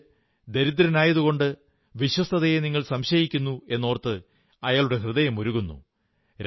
മറിച്ച് ദരിദ്രനായതുകൊണ്ട് വിശ്വസ്തതയെ നിങ്ങൾ സംശയിക്കുന്നു എന്നോർത്ത് അയാളുടെ ഹൃദയമുരുകുന്നു